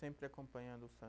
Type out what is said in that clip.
Sempre acompanhando o